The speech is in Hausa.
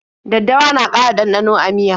Daddawa na ƙara ɗanɗano a miya.